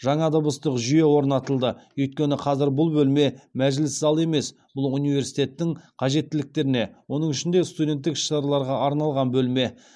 жаңа дыбыстық жүйе орнатылды өйткені қазір бұл бөлме мәжіліс залы емес бұл университеттің қажеттіліктеріне оның ішінде студенттік іс шараларға арналған бөлме